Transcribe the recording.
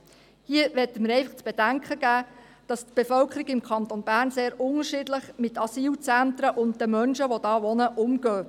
Hier möchten wir zu bedenken geben, dass die Bevölkerung im Kanton Bern sehr unterschiedlich mit Asylzentren und den Menschen, die dort wohnen, umgeht.